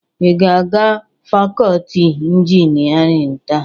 Ị ga-aga fakọọti injinịarịn taa?